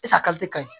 kaɲi